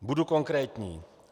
Budu konkrétní.